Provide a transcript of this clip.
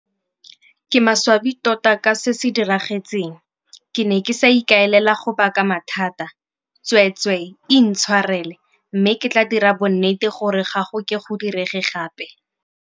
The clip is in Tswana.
Ke maswabi tota ka se se diragetseng, ke ne ke sa ikaelela go baka mathata. Tsweetswe intshwarele mme ke tla dira bonnete gore ga go ke go direge gape.